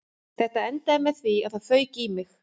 Þetta endaði með því að það fauk í mig